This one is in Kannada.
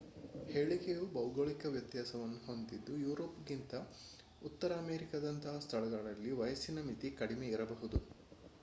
ಹೇಳಿಕೆಯು ಭೌಗೋಳಿಕ ವ್ಯತ್ಯಾಸಗಳನ್ನು ಹೊಂದಿದ್ದು ಯುರೋಪ್‌ಗಿಂತ ಉತ್ತರ ಅಮೆರಿಕದಂತಹ ಸ್ಥಳಗಳಲ್ಲಿ ವಯಸ್ಸಿನ ಮಿತಿ ಕಡಿಮೆ ಇದ್ದಿರಬಹುದು